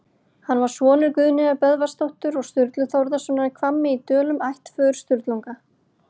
Hann var sonur Guðnýjar Böðvarsdóttur og Sturlu Þórðarsonar í Hvammi í Dölum, ættföður Sturlunga.